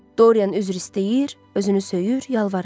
Doryan üzr istəyir, özünü söyür, yalvarırdı.